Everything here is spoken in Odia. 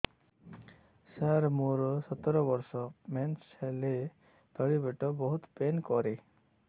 ସାର ମୋର ସତର ବର୍ଷ ମେନ୍ସେସ ହେଲେ ତଳି ପେଟ ବହୁତ ପେନ୍ କରେ